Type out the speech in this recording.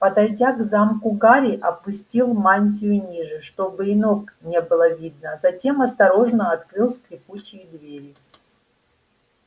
подойдя к замку гарри опустил мантию ниже чтобы и ног не было видно затем осторожно открыл скрипучие двери